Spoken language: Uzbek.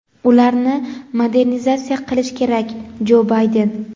ularni modernizatsiya qilishi kerak – Jo Bayden.